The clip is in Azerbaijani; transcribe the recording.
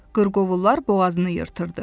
Qırqovullar boğazını yırtırdı.